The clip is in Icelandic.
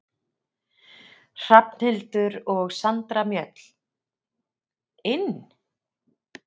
Hrafnhildur og Sandra Mjöll: Inn?